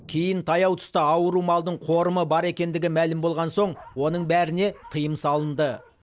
кейін таяу тұста ауру малдың қорымы бар екендігі мәлім болған соң оның бәріне тыйым салынды